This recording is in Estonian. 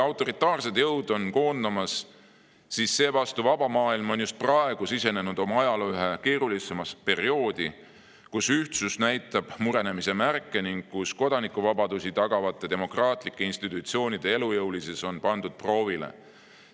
Autoritaarsed jõud on koondumas, seevastu vaba maailm on just praegu sisenenud oma ajaloo ühte keerulisemasse perioodi, kus ühtsus näitab murenemise märke ning kodanikuvabadusi tagavate demokraatlike institutsioonide elujõulisus on pandud proovile.